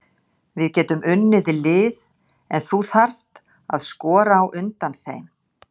Við getum unnið lið en þú þarft að skora á undan þeim.